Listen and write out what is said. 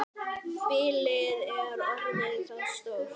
Bilið er orðið það stórt.